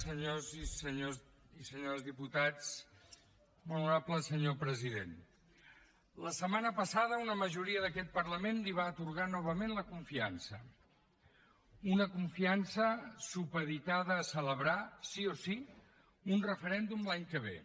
senyors i senyores diputats molt honorable senyor president la setmana passada una majoria d’aquest parlament li va atorgar novament la confiança una confiança supeditada a celebrar sí o sí un referèndum l’any que ve